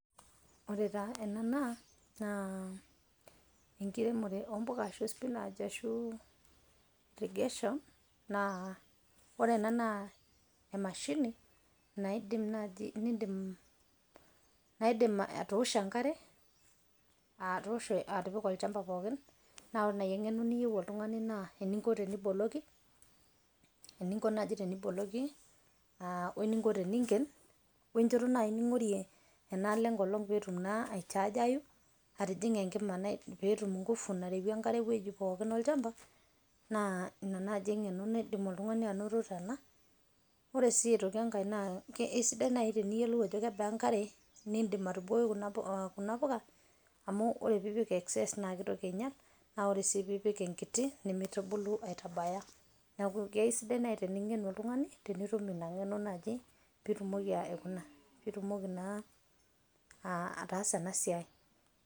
Ore taa ena naa enkiremore ompuka ashu spinach ,ashu irrigation, ore ena naa emashini naidim naji naidim atoosho enkare atoosho atipika olchamba pookin. Na ore nai eng'eno niyieu oltung'ani naa, eninko teniboloki, eninko naji teniboloki, ah weninko teniingen, wenchoto nai ning'orie enaalo enkolong' petum naa aichaajayu, atijing'a enkima petum ngufu nareyie enkare ewueji pookin olchamba, naa ina nai eng'eno naidim oltung'ani anoto tena. Ore si aitoki enkae, kesidai nai teneyiolou ajo kebaa enkare nidim atubukoki kuna puka, amu ore pipik excess na kitoki ainyal, na ore si pipik enkiti, nimitubulu abaya. Neeku kesidai nai tening'enu oltung'ani, tenitum ina ng'eno naji pitumoki aikuna, pitumoki naa ataasa enasiai.